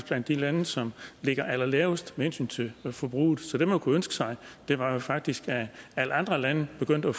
blandt de lande som ligger allerlavest med hensyn til forbruget så det man kunne ønske sig var faktisk at alle andre lande begyndte at